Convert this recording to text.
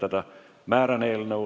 Istungi lõpp kell 16.22.